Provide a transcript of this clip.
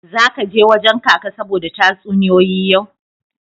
Zaka je wajen Kaka saboda tatsuniyoyi yau.